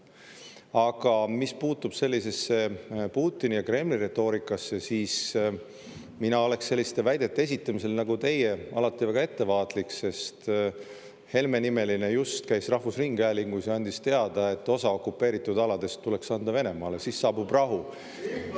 Aga mis puutub sellisesse Putini ja Kremli retoorikasse, siis mina oleksin selliste väidete esitamisel, nagu teie, alati väga ettevaatlik, sest Helme-nimeline just käis rahvusringhäälingus ja andis teada, et osa okupeeritud aladest tuleks anda Venemaale, siis saabub rahu.